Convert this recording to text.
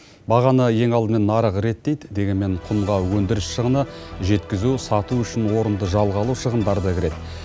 бағаны ең алдымен нарық реттейді дегенмен құнға өндіріс шығыны жеткізу сату үшін орынды жалға алу шығындары да кіреді